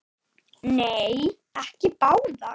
Nei, ekki báðar.